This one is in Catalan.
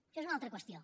això és una altra qüestió